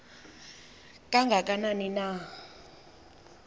kanga kanani na